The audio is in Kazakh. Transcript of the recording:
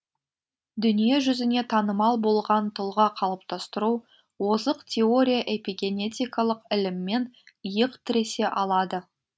дүние жүзіне танымал болған тұлға қалыптастыру озық теория эпигенетикалық іліммен иық тіресе алады